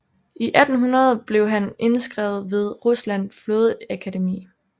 I 1800 blev han indskrevet ved Ruslands flådeakademi